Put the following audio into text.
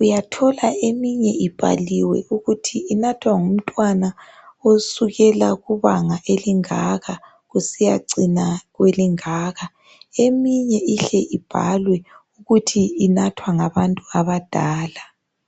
uyathola eminye ibhaliwe ukuthi inathwa ngumntwana osukela kubanga elingaka kusiya cina kwelingaka. Eminye ihle ibhalwe ukuthi inathwa ngabantu abadala.